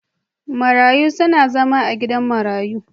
Marayu suna zama a gidan marayu.